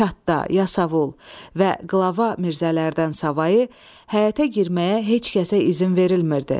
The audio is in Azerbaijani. Katda, Yasavul və qlava Mirzələrdən savayı həyətə girməyə heç kəsə izin verilmirdi.